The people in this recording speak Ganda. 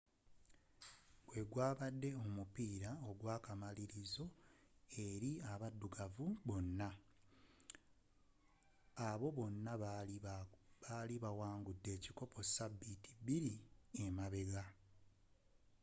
gwe gwabadde omupiira gw'akamalirizo eri abaddugavu bonna abo bonna abaali bawangudde ebikopo sabiiti bbiri emabega